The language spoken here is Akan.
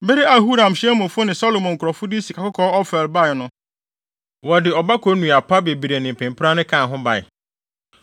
Bere a Huram hyɛn mufo ne Salomo nkurɔfo de sikakɔkɔɔ fi Ofir bae no, wɔde ɔbako nnua pa bebree ne mpempranne kaa ho bae.